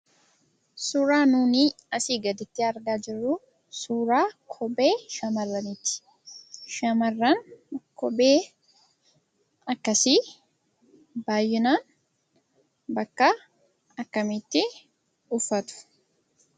Suuraan nuyi asii gaditti argaa jirru suuraa kophee shamarraniiti. Shamarran kophee akkasii baay'inaan bakka akkamiitti uffatu?